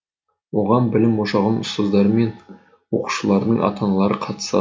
оған білім ошағының ұстаздары мен оқушылардың ата аналары қатысты